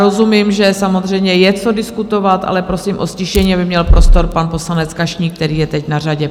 Rozumím, že samozřejmě je co diskutovat, ale prosím o ztišení, aby měl prostor pan poslanec Kašník, který je teď na řadě.